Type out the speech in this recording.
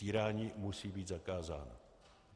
Týrání musí být zakázáno.